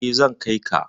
Eh, zan kai ka.